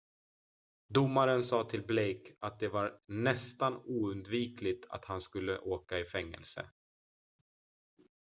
"domaren sa till blake att det var "nästan oundvikligt" att han skulle åka i fängelse.